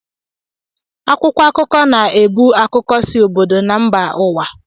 Akwụkwọ akụkọ na-ebu akụkọ si obodo na mba ụwa